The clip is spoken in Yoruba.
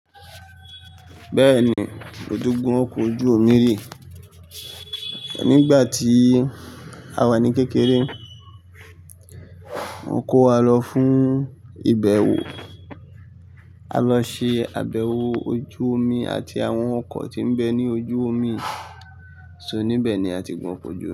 Bẹ́ẹ̀ni, odogu o kojú omi rè. Nígbà tí a wà ní kékeré, wọn kó wa lọ fún ìbẹ̀wò, a lọ ṣe àbẹ̀wò ojú omi àti àwọn ọkọ̀ tí ń bẹ ní ojú omi, so níbẹ̀ ni a ti gun oko ojú.